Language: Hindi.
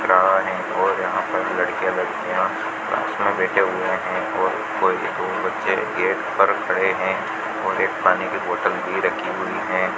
यहां एक ओर यहां पर लड़के लड़कियां कक्ष में बैठे हुए हैं और कोई एक ओर बच्चे गेट पर खड़े हैं और एक पानी की बॉटल भी रखी हुई है।